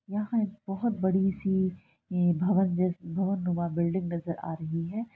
यहाँ एक बहुत बड़ी-सी ये भवन भवन नुमा बिल्डिंग नजर आ रही है।